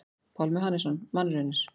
Pálmi Hannesson: Mannraunir.